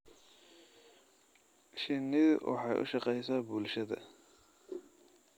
Shinnidu waxay u shaqaysaa bulshada.